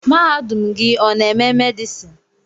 Mahadum gị ọ n'eme medison?